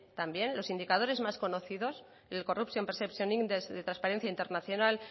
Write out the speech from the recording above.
también los indicadores más conocidos el corruption perceptions index de transparencia internacional